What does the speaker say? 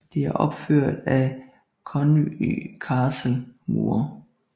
Det er opført op af Conwy Castles mure